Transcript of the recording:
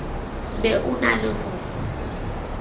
be o na le ho